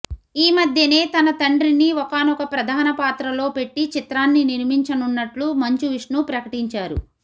ఈ మధ్యనే తన తండ్రిని ఒకానొక ప్రధాన పాత్రలో పెట్టి చిత్రాన్ని నిర్మించనున్నట్టు మంచు విష్ణు ప్రకటించారు